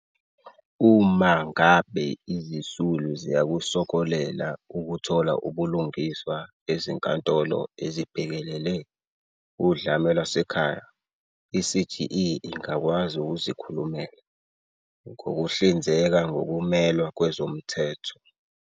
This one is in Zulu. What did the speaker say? Uma ngabe izisulu ziyakusokolela ukuthola ubulungiswa Ezinkantolo ezibhekelele Udlame Lwasekhaya, i-CGE ingakwazi ukuzikhulumela, ngokuhlinzeka ngokumelwa kwezomthetho.